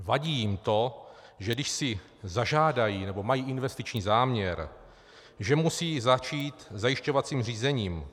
Vadí jim to, že když si zažádají, nebo mají investiční záměr, že musí začít zajišťovacím řízením.